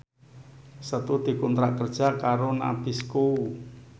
Setu dikontrak kerja karo Nabisco